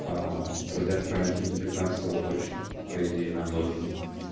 аа продлят карантин до пятнадцатого точно по идее нам должны